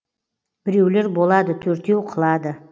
біреулер болады төртеу қылады